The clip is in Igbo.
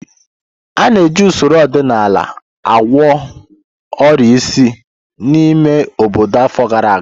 A na-eji usoro ọdịnala na ọgwụ agwọ ọrịa isi n'ime obodo afọ gara aga.